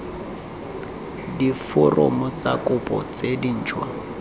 diforomo tsa kopo tse dintšhwa